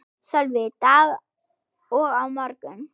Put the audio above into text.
Sölvi: Dag og á morgun?